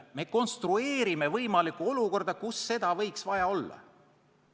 Me konstrueerime võimalikku olukorda, kus seda võiks vaja olla.